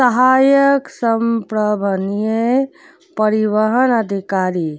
सहायक संप्रवनीय परिवहन अधिकारी --